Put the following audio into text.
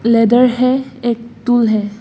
Leather है एक tool है।